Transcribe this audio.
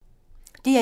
DR1